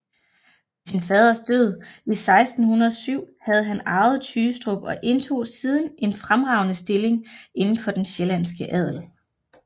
Ved sin faders død 1607 havde han arvet Tygestrup og indtog siden en fremragende stilling inden for den sjællandske adel